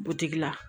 Butigi la